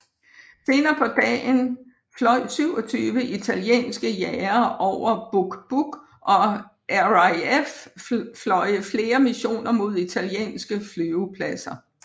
Senere på dagen fløj 27 italienske jagere over Buq Buq og RAF fløje flere missioner mod italienske flyvepladser